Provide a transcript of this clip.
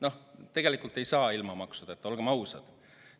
Noh, tegelikult ei saa ilma maksudeta, olgem ausad.